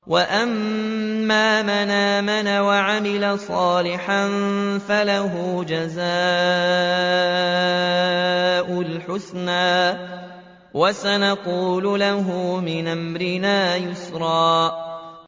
وَأَمَّا مَنْ آمَنَ وَعَمِلَ صَالِحًا فَلَهُ جَزَاءً الْحُسْنَىٰ ۖ وَسَنَقُولُ لَهُ مِنْ أَمْرِنَا يُسْرًا